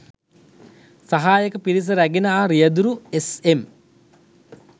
සහායක පිරිස රැගෙන ආ රියදුරු එස්.එම්